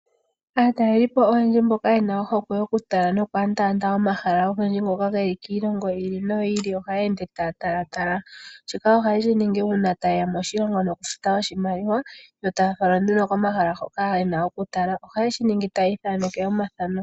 Aatalelipo oyendji mboka yena ohokwe yo kutala no enda omahala ogendji ngoka geli kiilongo yi ili noyi ili ohaye ende taya talatala shika oha yeshiningi uuna ta yeya moshilongo nokufuta oshimaliwa yo taya falwa nduno komahala hoka yena oku tala. Oha yeshiningi taya ithaneke omathano.